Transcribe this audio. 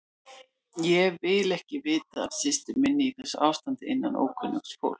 Ég vil ekki vita af systur minni í þessu ástandi innanum ókunnugt fólk.